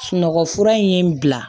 Sunɔgɔ fura in ye bila